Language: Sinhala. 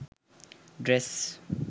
dress